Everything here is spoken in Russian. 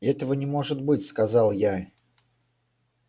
этого не может быть сказал я